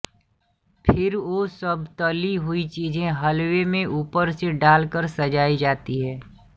फिर वो सब तली हुई चीजें हलवेमें ऊपर से डालकर सजाई जाती है